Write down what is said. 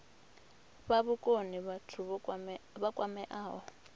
fha vhukoni vhathu vha kwameaho